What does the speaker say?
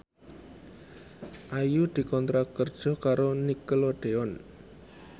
Ayu dikontrak kerja karo Nickelodeon